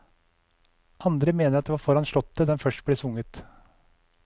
Andre mener at det var foran slottet den først ble sunget.